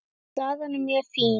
Staðan er mjög fín.